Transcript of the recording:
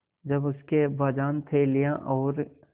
जब उसके अब्बाजान थैलियाँ और